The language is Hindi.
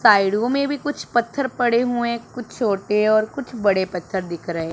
साइडों में भी कुछ पत्थर पड़े हुए कुछ छोटे और कुछ बड़े पत्थर दिख रहे--